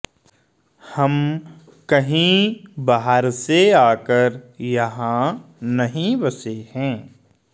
हम कहीं बाहर से आकर यहां नहीं बसे हैं